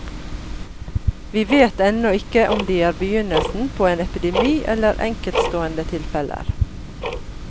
Vi vet ennå ikke om de er begynnelsen på en epidemi, eller enkeltstående tilfeller.